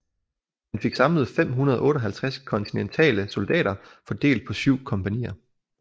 Han fik samlet 558 kontinentale soldater fordelt på syv kompagnier